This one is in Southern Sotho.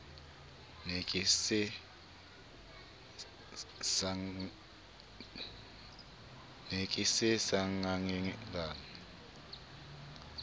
ne ke se sengangele a